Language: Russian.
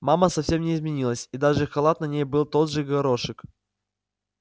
мама совсем не изменилась и даже халат на ней был тот же в горошек